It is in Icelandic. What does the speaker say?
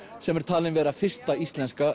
sem er talinn vera fyrsta íslenska